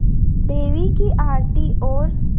देवी की आरती और